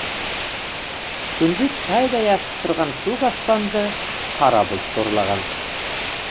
күндіз шайдай ашық тұрған көк аспанды қара бұлт торлаған